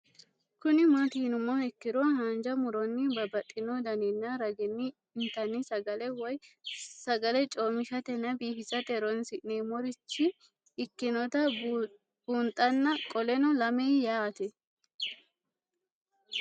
Kuni mati yinumoha ikiro hanja muroni babaxino daninina ragini intani sagale woyi sagali comishatenna bifisate horonsine'morich ikinota bunxana qoleno lame yaate?